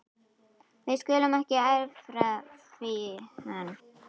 Við skulum ekki erfa það við hann.